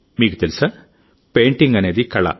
మీకు తెలుసాపెయింటింగ్ అనేది కళ